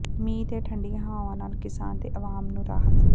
ਮੀਂਹ ਤੇ ਠੰਢੀਆਂ ਹਵਾਵਾਂ ਨਾਲ ਕਿਸਾਨ ਤੇ ਅਵਾਮ ਨੂੰ ਰਾਹਤ